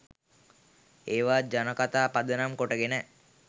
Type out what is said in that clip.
ඒවා ජනකතා පදනම් කොටගෙන